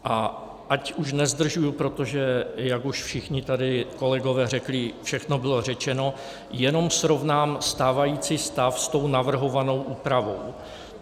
A ať už nezdržuji, protože jak už všichni tady kolegové řekli, všechno bylo řečeno, jenom srovnám stávající stav s tou navrhovanou úpravou.